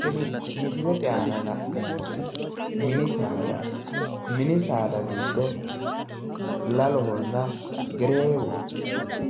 Tini misilete aana la'neemmoti mini saadaati, mini saada giddo lalohonna gereewoho,